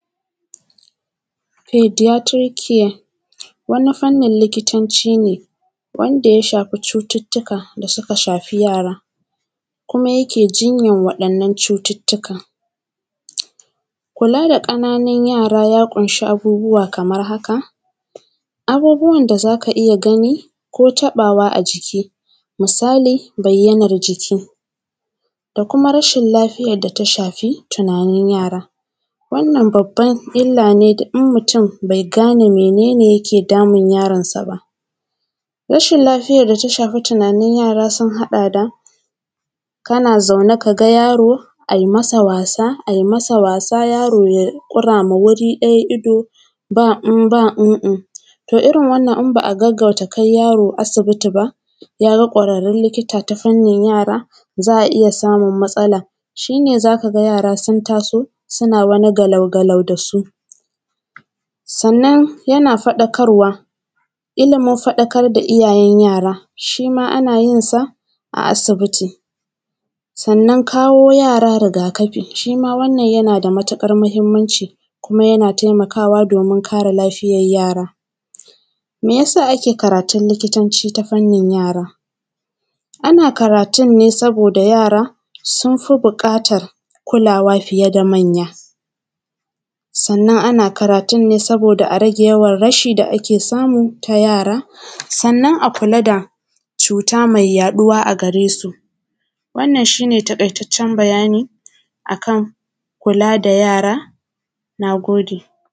“Paediatric care”, wani fannin likitanci ne, wanda ya shafi cututtuka da suka shafi yara kuma yake jinyan waɗannan cututtukan. Kula da ƙananan yara ya ƙunshi abubuwa kaman haka: abubuwan da za ka iya gani ko taƃawa a jiki, misali bayyanar jiki da kuma rashil lafiyar da ta shafi tunanin yara. Wannan babban illa ne da in mutun bai gane mene ne yake damun yaronsa ba. Rashil lafiyar da ta shafi tunanin yara sun haɗa da: kana zaune ka ga yaro, ai masa wasa, ai masa wasa, yaro yai ƙura ma wuri ɗaya ido, ba-in-ba-in-in. To, irin wannan in ba a gaggauta kai yaro asibiti ba, ya ga ƙwararrul likita ta fannin yara, za a iya samum matsala. Shi ne, za ka ga yara sun taso, suna wani galau-galau da su. Sannan, yana faɗakarwa, ilimin faɗakar da iyayen yara, shi ma ana yin sa a asibiti. Sannan, kawo yara riga-kafi, shi ma wannan yana da matiƙar mahimmanci kuma yana temakawa domin kare lafiyar yara. Me ya sa ake karatul likitanci ta fannin yara? Ana karatun ne saboda yara, sun fi biƙatar kulawa fiye da manya. Sannan, ana karatun ne saboda a rage yawan rashi da ake samu ta yara, sannan a kula da cuta me yaɗuwa a gare su. Wannan, shi ne taƙaitaccen bayani a kan kula da yara, na gode.